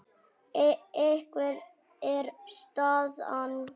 Hver er staðan?